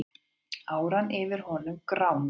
Áran yfir honum gránaði.